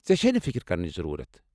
ژےٚ چھیہ نہٕ فِكِر كرنٕچ ضروُرت ۔